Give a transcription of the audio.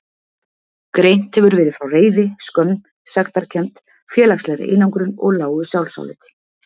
Greint hefur verið frá reiði, skömm, sektarkennd, félagslegri einangrun og lágu sjálfsáliti.